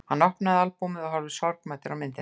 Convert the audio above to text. Hann opnaði albúmið og horfði sorgmæddur á myndirnar.